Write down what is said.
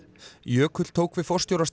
jökull tók við